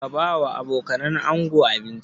Ka ba wa abokanan ango abinci?